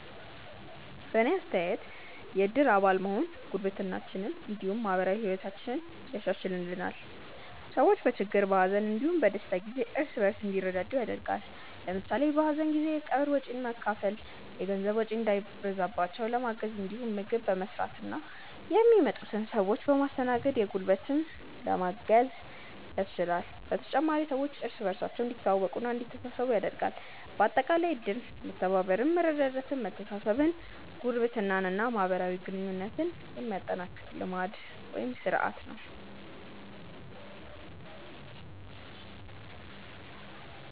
በእኔ አስተያየት የእድር አባል መሆን ጉርብትናችንን እንዲሁም ማህበራዊ ህይወታችንን ያሻሻሽልልናል። ሰዎች በችግር፣ በሀዘን እንዲሁም በደስታ ጊዜ እርስ በእርስ እንዲረዳዱ ያደርጋል። ለምሳሌ በሀዘን ጊዜ የቀብር ወጪን በመካፈል የገንዘብ ወጪ እንዳይበዛባቸው ለማገዝ እንዲሁም ምግብ በመስራትና የሚመጡትን ሰዎች በማስተናገድ በጉልበትም ለማገዝ ያስችላል። በተጨማሪም ሰዎች እርስ በእርስ እንዲተዋወቁና እንዲተሳሰቡ ያደርጋል። በአጠቃላይ እድር መተባበርን፣ መረዳዳትን፣ መተሳሰብን፣ ጉርብትናን እና ማህበራዊ ግንኙነትን የሚያጠናክር ልማድ (ስርአት) ነው።